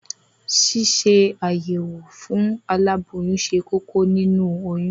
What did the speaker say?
Ṣíṣe àyẹ̀wò fún aláboyún ṣe kókó nínu oyún.